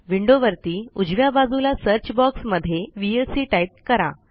विंडोवरती उजव्या बाजूला search box मध्ये व्हीएलसी टाईप करा